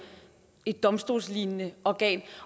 et domstolslignende organ